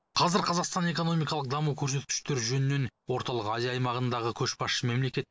қазір қазақстан экономикалық даму көрсеткіштері жөнінен орталық азия аймағындағы көшбасшы мемлекет